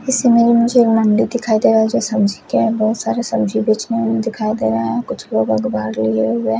इसमें मुझे नन्दी दिखाई दे रहा जो सब्जी क्या है बहोत सारी सब्जी बेचने वाले दिखाई दे रहा है कुछ लोग आखबार लिए हुआ है।